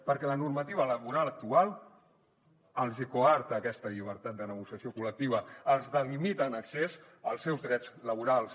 perquè la normativa laboral actual els hi coarta aquesta llibertat de negociació col·lectiva els delimita en excés els seus drets laborals